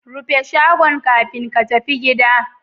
Rufe shagon kafin ka tafi gida